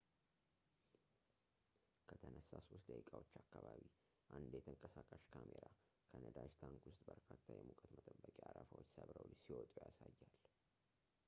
ከተነሳ 3 ደቂቃዎች አካባቢ አንድ የተንቀሳቃሽ ካሜራ ከነዳጅ ታንክ ውስጥ በርካታ የሙቀት መጠበቂያ አረፋዎች ሰብረው ሲወጡ ያሳያል